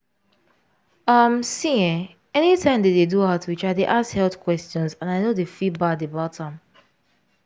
um see eh anytime dem dey do outreach i dy ask health questions and i no dey feel bad about am.